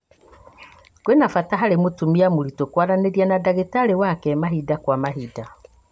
kwĩna bata harĩ mũtumia mũritu kwaranĩria na ndagĩtarĩwake mahinda kwa mahinda